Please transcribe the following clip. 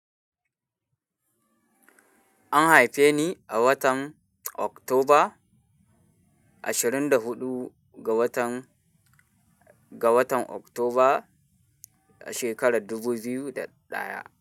An haife ni a watan Oktoba ashirin da huɗu ga watan, ga watan Oktoba shekarar dubu biyu da ɗaya.